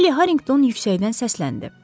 Polly Harrington yüksəkdən səsləndi.